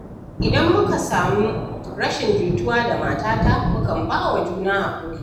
Idan muka samu rashin jituwa da matata, mukan ba wa juna haƙuri.